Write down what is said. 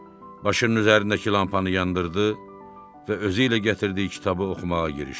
Başının üzərindəki lampanı yandırdı və özü ilə gətirdiyi kitabı oxumağa girişdi.